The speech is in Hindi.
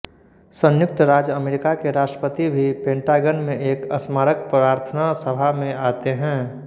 संयुक्त राज्य अमेरिका के राष्ट्रपति भी पेंटागन में एक स्मारक प्रार्थना सभा में आते है